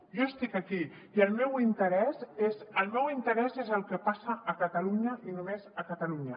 jo estic aquí i el meu interès és el que passa a catalunya i només a catalunya